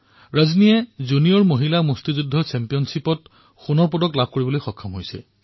ৰজনীয়ে junior মহিলা boxing প্ৰতিযোগিতাত সোণৰ পদক জয় কৰিছে